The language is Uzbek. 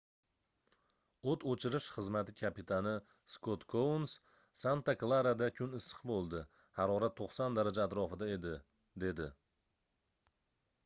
oʻt oʻchirish xizmati kapitani skot kouns santa klarada kun issiq boʻldi harorat 90 daraja atrofida edi dedi